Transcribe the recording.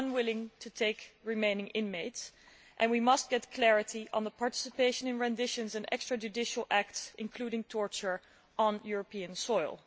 We are unwilling to take remaining inmates and we must get clarity on the participation in renditions and extrajudicial acts, including torture, on European soil.